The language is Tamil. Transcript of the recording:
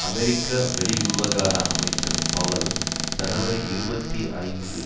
அமெரிக்க வெளிவிவகார அமைச்சர் பவல் ஜனவரி இருபத்தி ஐந்து